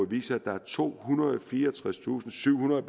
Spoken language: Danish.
viser at der er tohundrede og fireogtredstusindsyvhundrede